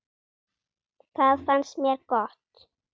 Það fannst mér gott.